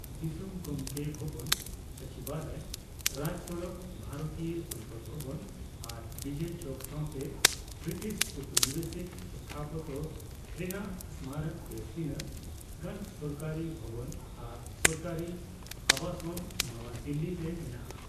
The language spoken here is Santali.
ᱫᱤᱥᱚᱢ ᱜᱚᱢᱵᱮ ᱵᱷᱚᱵᱚᱱ, ᱥᱚᱪᱤᱵᱟᱞᱚᱭ, ᱨᱟᱡᱽᱥᱚᱲᱚᱠ, ᱵᱷᱟᱨᱚᱛᱤᱭᱚ ᱥᱚᱝᱥᱚᱫ ᱵᱷᱚᱵᱚᱱ ᱟᱨ ᱵᱤᱡᱚᱭ ᱪᱳᱣᱠ ᱥᱟᱛᱮ ᱵᱨᱤᱴᱤᱥ ᱳᱣᱯᱚᱱᱤᱵᱮᱥᱤᱠ ᱥᱛᱷᱟᱯᱚᱛᱛᱚ ᱨᱮᱱᱟᱜ ᱥᱢᱟᱨᱚᱠ ᱵᱮᱥ ᱛᱤᱱᱟᱹᱜᱼᱜᱟᱱ ᱥᱚᱨᱠᱟᱨᱤ ᱵᱷᱚᱵᱚᱱ ᱟᱨ ᱥᱚᱨᱠᱟᱨᱤ ᱟᱵᱟᱥᱚᱱ ᱱᱟᱣᱟ ᱫᱤᱞᱞᱤ ᱨᱮ ᱢᱮᱱᱟᱜᱼᱟ ᱾